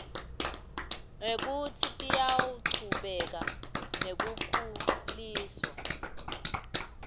nekutsi tiyachubeka nekukhuliswa